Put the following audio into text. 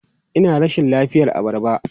Ina rashin lafiyar abarba.